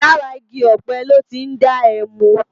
Làrá igi òpé lò ti n dá èmú